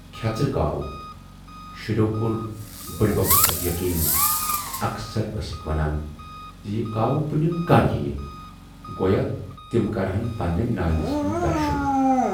کھٮ۪ژرے کاوو، شُرٮ۪و کور بُڈۍ بَبس پٮ۪ٹھ یقیٖن تہٕ اکثر ٲسِکھ ونان زِ یہِ کاوٕ پُنِم کر یِیہِ گویا تِم کرٕہَن پنٕنہِ نانہِ ہُند دَرشُن